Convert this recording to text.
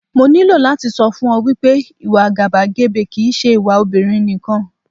Mo ní láti sọ fún ọ wípé, ìwà àgàbàgebè kì ń ṣe ìwà obìnrin nìkan.